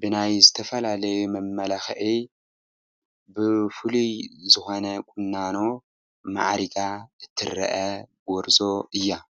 ብናይ ዝተፈላለዩ መመላኽዒ ብፍሉይ ዝኾነ ቁናኖ ማዕሪጋ ትርአ ጐርዞ እያ፡፡